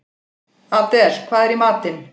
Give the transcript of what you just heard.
Adel, hvað er í matinn?